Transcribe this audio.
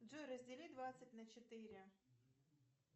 джой раздели двадцать на четыре